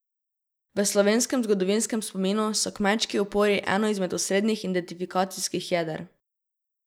V slovenskem zgodovinskem spominu so kmečki upori eno izmed osrednjih identifikacijskih jeder.